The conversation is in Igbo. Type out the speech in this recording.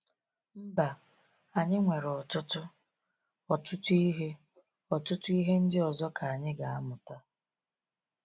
Mba, anyị nwere ọtụtụ, ọtụtụ ihe ọtụtụ ihe ndị ọzọ ka anyị ga-amụta.